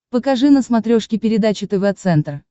покажи на смотрешке передачу тв центр